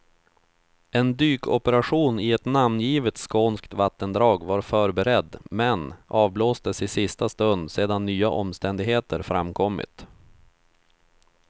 En dykoperation i ett namngivet skånskt vattendrag var förberedd, men avblåstes i sista stund sedan nya omständigheter framkommit.